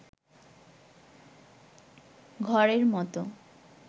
ঘরের মত